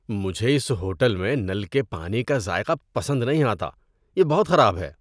مجھے اس ہوٹل میں نل کے پانی کا ذائقہ پسند نہیں آتا، یہ بہت خراب ہے۔